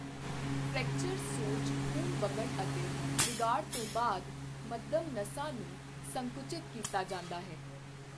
Fracture, ਸੋਜ, ਖੂਨ ਵਗਣ ਅਤੇ ਵਿਗਾੜ ਤੋਂ ਬਾਅਦ ਮੱਧਮ ਨਸਾਂ ਨੂੰ ਸੰਕੁਚਿਤ ਕੀਤਾ ਜਾਂਦਾ ਹੈ।